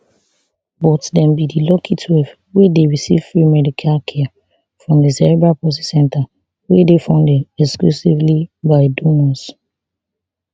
but dem be di lucky twelve wey dey receive free care from di cerebral palsy centre wey dey funded exclusively by donors